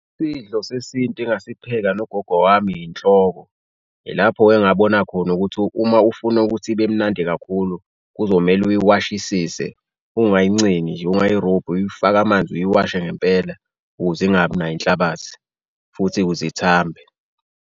Sidlo sesintu engasipheka nogogo wami inhloko, yilapho-ke engabona khona ukuthi uma ufuna ukuthi ibe mnandi kakhulu kuzomele uyiwashisise, ukungayincengi nje ungayirobhi, uyifake amanzi uyiwashe ngempela ukuze ingabi nayo inhlabathi futhi ukuze ithambe.